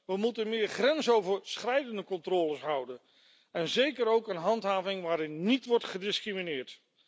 We moeten meer grensoverschrijdende controles houden en hebben zeker ook een handhaving nodig waarin niet wordt gediscrimineerd.